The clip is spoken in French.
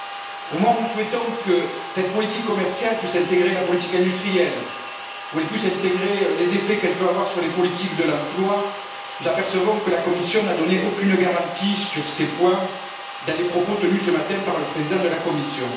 Au moment où nous souhaitons que cette politique commerciale puisse intégrer la politique industrielle et les effets qu'elle peut avoir sur les politiques de l'emploi, nous nous apercevons que la Commission n'a donné aucune garantie sur ces points dans les propos tenus ce matin par le président de la Commission.